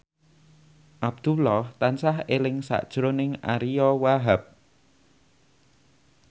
Abdullah tansah eling sakjroning Ariyo Wahab